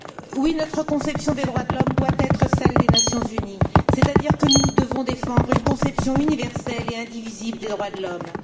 Oui, notre conception des droits de l'homme doit être celle des Nations unies, c'est à dire que nous devons défendre une conception universelle et indivisible des droits de l'homme.